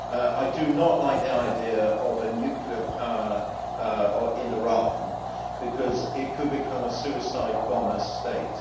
I do not like the idea of a nuclear power in Iran, because it could become a suicide bomber state.